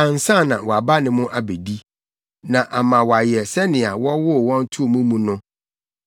ansa na wɔaba ne mo abedi; na ama wɔayɛ sɛnea wɔwoo wɔn too mo mu no.